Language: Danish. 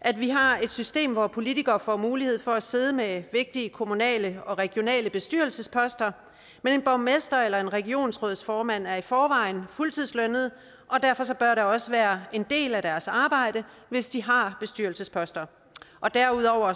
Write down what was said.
at vi har et system hvor politikere får mulighed for at sidde med vigtige kommunale og regionale bestyrelsesposter men en borgmester eller en regionsrådsformand er i forvejen fuldtidslønnet og derfor bør det også være en del af deres arbejde hvis de har bestyrelsesposter derudover